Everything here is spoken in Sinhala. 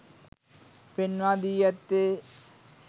පෙන්වා දී ඇත්තේ